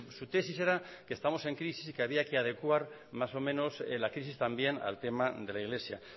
su tesis era que estamos en crisis y que había que adecuar más o menos la crisis también al tema de la iglesia